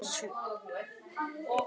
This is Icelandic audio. Gunnar Hansson